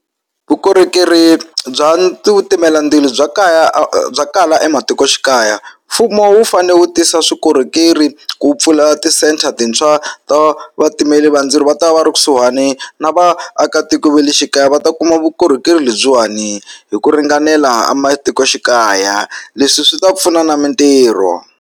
Vukorhokeri bya ti timela ndzilo bya kaya a bya kala ematikoxikaya mfumo wu fanele wu tisa swikorhokeri ku pfula ti-centre-a tintshwa to va vatimeli va ndzilo va ta va va ri kusuhani na vaakatiko va le xikaya va ta kuma vukorhokeri lebyiwani hi ku ringanela a matikoxikaya leswi swi ta pfuna na mitirho.